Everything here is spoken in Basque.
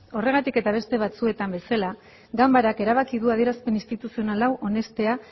horregatik eta beste batzuetan bezala ganbarak erabaki du adierazpen instituzional hau onestea